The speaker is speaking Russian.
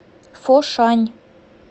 фошань